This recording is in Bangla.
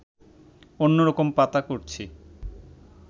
অন্য রকম পাতা করছি